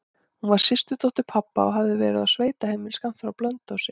Hún var systurdóttir pabba og hafði verið á sveitaheimili skammt frá Blönduósi.